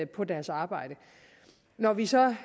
på deres arbejde når vi så